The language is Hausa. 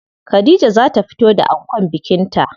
Khadija za ta fito da ankon bikin ta.